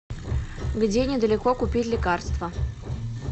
где недалеко купить лекарства